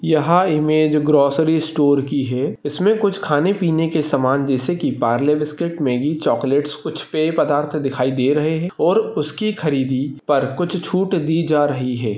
यहा image grocery store की है इसमे कुछ खाने-पीने की समान जैसे की पारले बिस्किट मागी चॉक्लेट्स कुछ पेय पदार्थ दिखाई दे रहे है और उसकी खरीदी पर कुछ छूट दि जा रही है।